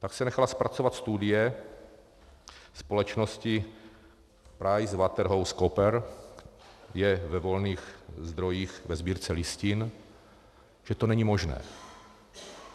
Pak se nechala zpracovat studie společnosti PricewaterhouseCoopers, je ve volných zdrojích ve Sbírce listin, že to není možné.